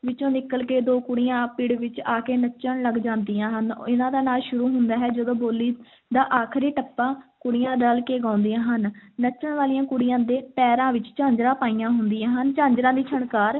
ਵਿੱਚੋਂ ਨਿਕਲ ਕੇ ਦੋ ਕੁੜੀਆਂ ਪਿੜ ਵਿੱਚ ਆ ਕੇ ਨੱਚਣ ਲੱਗ ਜਾਂਦੀਆਂ ਹਨ, ਇਹਨਾਂ ਦਾ ਨਾਚ ਸ਼ੁਰੂ ਹੁੰਦਾ ਹੈ ਜਦੋਂ ਬੋਲੀ ਦਾ ਆਖ਼ਰੀ ਟੱਪਾ ਕੁੜੀਆਂ ਰਲ ਕੇ ਗਾਉਂਦੀਆਂ ਹਨ, ਨੱਚਣ ਵਾਲੀਆਂ ਕੁੜੀਆਂ ਦੇ ਪੈਰਾਂ ਵਿੱਚ ਝਾਂਜਰਾਂ ਪਾਈਆਂ ਹੁੰਦੀਆਂ ਹਨ, ਝਾਂਜਰਾਂ ਦੀ ਛਣਕਾਰ,